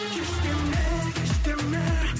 кеш деме кеш деме